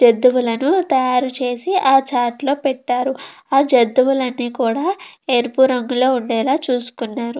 తాయారు చేసి ఆ చాట్ లో పెటారు. ఆ జెన్ తుగల్లు కూడా ఎరుపు రంగు లో వుండే ల చుసుకునారు.